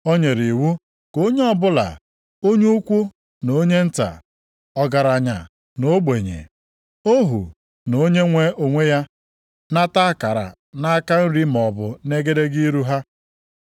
O nyere iwu ka onye ọbụla, onye ukwu na onye nta, ọgaranya na ogbenye, ohu na onye nwe onwe ya, nata akara nʼaka nri maọbụ nʼegedege ihu ha.